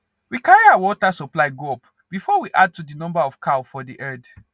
we carry our watr supply go up before we add to the number of cow for the herd